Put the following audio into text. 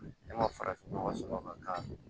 Ne ma farafin nɔgɔ sɔrɔ ka k'a la